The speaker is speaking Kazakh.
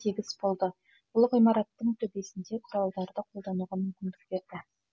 тегіс болды бұл ғимараттың төбесінде құралдарды қолдануға мүмкіндік берді